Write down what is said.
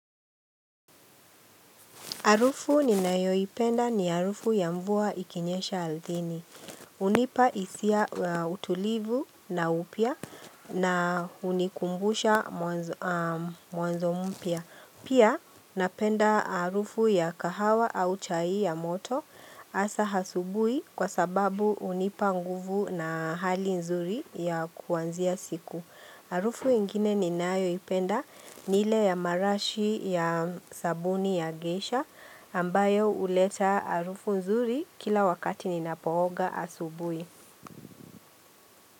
Harufu ninayoipenda ni arufu ya mvua ikinyesha althini. Unipa hisia utulivu na upya na unikumbusha mwanzo mpya. Pia napenda arufu ya kahawa au chai ya moto asa asubui kwa sababu unipa nguvu na hali nzuri ya kuanzia siku. Arufu ingine ninayoipenda ni ile ya marashi ya sabuni ya geisha ambayo uleta arufu nzuri kila wakati ninapooga asubui.